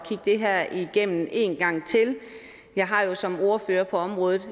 det her igennem en gang til jeg har jo som ordfører på området